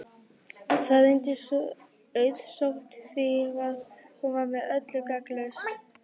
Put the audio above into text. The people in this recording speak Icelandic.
Það reyndist auðsótt því hún var með öllu gagnslaus.